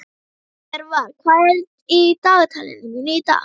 Jörvar, hvað er í dagatalinu mínu í dag?